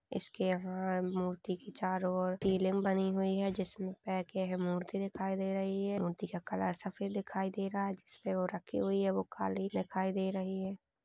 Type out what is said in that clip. इसके यहां मूर्ति के चारो ओर सीलिंग बनी हुई है जिसमे पैक है मूर्ति दिखाई दे रही है मूर्ति का कलर सफेद दिखाई दे रहा है जिसमे वो रखी हुई है। वो काली दिखाई दे रही हैं।